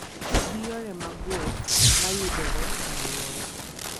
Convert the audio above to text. Ti gi yore mag wuoth ma yudore e alworau.